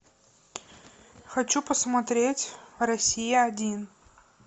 хочу посмотреть россия один